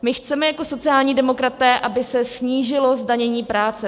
My chceme jako sociální demokraté, aby se snížilo zdanění práce.